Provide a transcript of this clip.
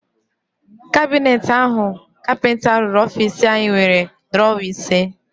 Kabineti áhụ̀ kapịnta rụrụ ofiisi anyị nwere drọwa ise.